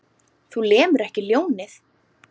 Þú lemur ekki ljónið.